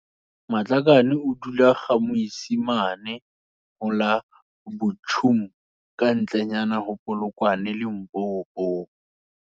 Matlakane o dula GaMoisimane ho la Buchum kantle nyana ho Polokwane Limpopo.